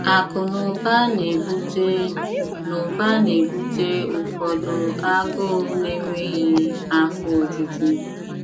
Akụ na ụba na-ebute na ụba na-ebute ụfọdụ agụụ na-enweghị afọ ojuju.